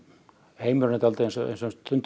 heimurinn er eins og stundum